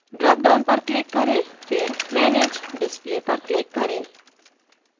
dropdown पर click करें फिर manage display पर click करें